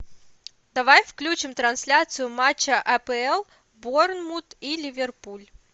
давай включим трансляцию матча апл борнмут и ливерпуль